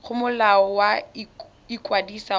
go molao wa ikwadiso wa